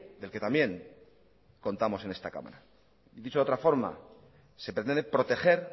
del que también contamos en esta cámara dicho de otra forma se pretende proteger